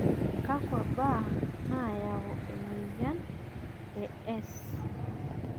kakua baa nayau ena moyian e S